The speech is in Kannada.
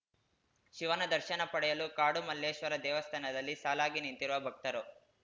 ಶಿವನ ದರ್ಶನ ಪಡೆಯಲು ಕಾಡುಮಲ್ಲೇಶ್ವರ ದೇವಸ್ಥಾನದಲ್ಲಿ ಸಾಲಾಗಿ ನಿಂತಿರುವ ಭಕ್ತರು